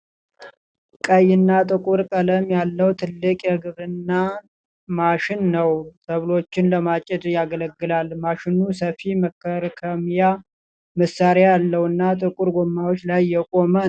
ቀይ እና ጥቁር ቀለም ያለው ትልቅ የግብርና ማሽን ነው። ሰብሎችን ለማጨድ ያገለግላል። ማሽኑ ሰፊ መከርከሚያ መሳሪያ ያለውና ጥቁር ጎማዎች ላይ የቆመ ነው።